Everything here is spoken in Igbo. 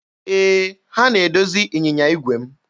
Ee, ha na-edozi ịnyịnya igwe m.